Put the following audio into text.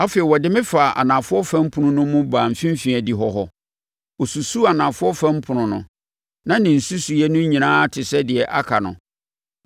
Afei, ɔde me faa anafoɔ fam ɛpono no mu baa mfimfini adihɔ hɔ. Ɔsusuu anafoɔ fam ɛpono no; na ne nsusuiɛ no nyinaa te sɛ deɛ aka no.